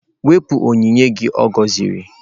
Wepụ onyinye gị ọ gọziri!.